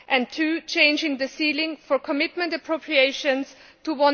two, changing the ceiling for commitment appropriations to